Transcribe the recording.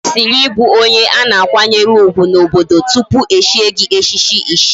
Ikwesiri ibu onye ana akwanyere ugwu na obodo tupu echie gi echichi ichie